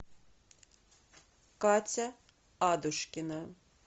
катя адушкина